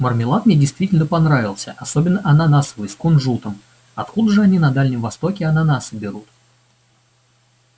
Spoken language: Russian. мармелад мне действительно понравился особенно ананасовый с кунжутом откуда же они на дальнем востоке ананасы берут